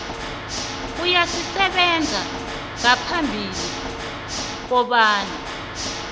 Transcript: eyayisebenza ngaphambi kobana